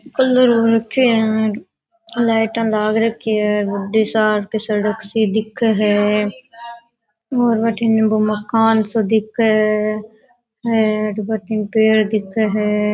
लाइटाँ लाग रखी है बड़ी सार की सड़क सी दिखे है और वठेन वो मकान सो दिखे है और वठन पेड़ दिखे है।